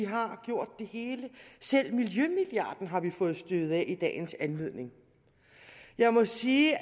har gjort det hele selv miljømilliarden har vi fået støvet af i dagens anledning jeg må sige